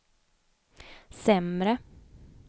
sämre